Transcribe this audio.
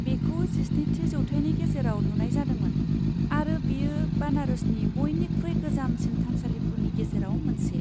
बेखौ जिस्निथि जौथाइनि गेजेराव लुनाय जादोंमोन आरो बेयो बानारसनि बयनिख्रुइ गोजामसिन थानसालिफोरनि गेजेराव मोनसे।